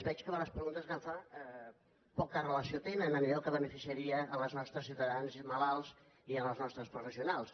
veig que les preguntes que em fa poca relació tenen amb allò que beneficiaria els nostres ciutadans malalts i els nostres professionals